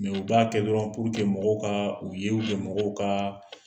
u b'a kɛ dɔrɔn mɔgɔw ka u ye mɔgɔw kan